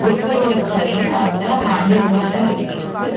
ஒருத்தரோட கை அந்த ஹேண்டில் மேல இருக்கு.